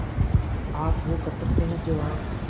आप वो कर सकते हैं जो आप